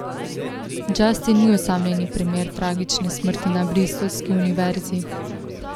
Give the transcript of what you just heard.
Justin ni osamljeni primer tragične smrti na bristolski univerzi.